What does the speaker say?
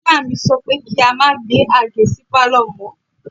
Ìyá mi sọ pé kí a má gbé Àgé sí Pálọ̀ mọ́.